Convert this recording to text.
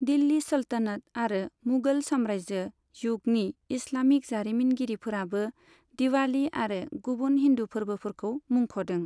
दिल्ली सल्तनत आरो मुगल सामरायजो जुगनि इस्लामिक जारिमिनगिरिफोराबो दिवालि आरो गुबुन हिन्दु फोरबोफोरखौ मुंख'दों।